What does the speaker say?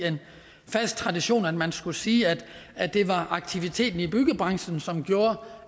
fast tradition for at man skulle sige at det var aktiviteten i byggebranchen som gjorde